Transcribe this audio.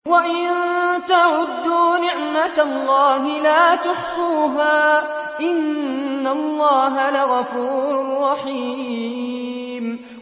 وَإِن تَعُدُّوا نِعْمَةَ اللَّهِ لَا تُحْصُوهَا ۗ إِنَّ اللَّهَ لَغَفُورٌ رَّحِيمٌ